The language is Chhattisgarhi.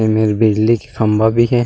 ए मे बिजली के खम्बा भी हे।